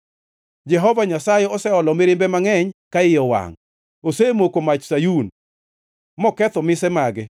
Jehova Nyasaye oseolo mirimbe mangʼeny ka iye owangʼ. Osemoko mach Sayun moketho mise mage.